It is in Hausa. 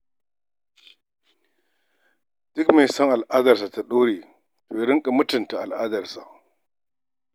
Duk mai son al'darsa ta ɗore, to ya riƙa mutunta al'adarsa.